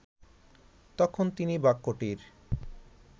তখন তিনি বাক্যটির